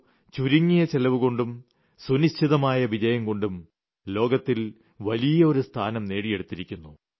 O ചുരുങ്ങിയ ചെലവുകൊണ്ടും സുനിശ്ചിതമായ വിജയംകൊണ്ടും ലോകത്തിൽ വലിയ ഒരു സ്ഥാനം നേടിയെടുത്തിരിക്കുന്നു